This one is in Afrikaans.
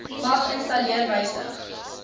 mag installeer wysig